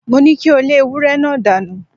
Mo ní kí o lé ewúré náà dánù!